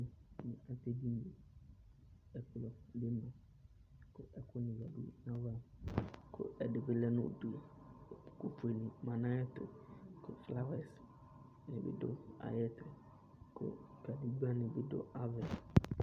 Kpokunɩ adʋ edini yɛ Ɛkplɔ bɩ ma kʋ ɛkʋnɩ yǝdu nʋ ayava kʋ ɛdɩ bɩ lɛ nʋ udu Ɛkʋfuenɩ ma nʋ ayɛtʋ kʋ flawɛsnɩ bɩ dʋ ayɛtʋ kʋ kadegbǝnɩ bɩ dʋ ava yɛ